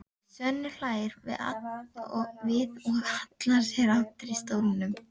Svenni hlær við og hallar sér aftur í stólnum.